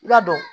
I ka dɔn